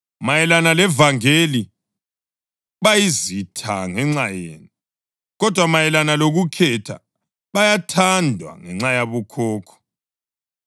Mayelana levangeli, bayizitha ngenxa yenu; kodwa mayelana lokukhetha, bayathandwa ngenxa yabokhokho,